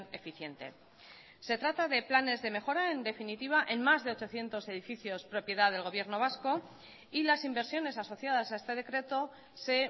eficiente se trata de planes de mejora en definitiva en más de ochocientos edificios propiedad del gobierno vasco y las inversiones asociadas a este decreto se